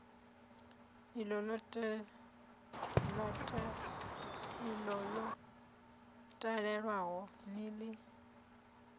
iḽo ḽo talelwaho ni ḽi